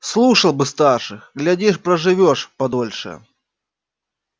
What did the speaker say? слушал бы старших глядишь проживёшь подольше